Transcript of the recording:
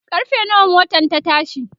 karfe nawa motan ta tashi?